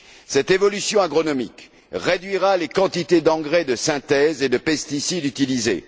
Cette évolution agronomique réduira les quantités d'engrais de synthèse et de pesticides utilisées.